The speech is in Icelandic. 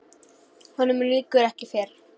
Honum lýkur ekki fyrr.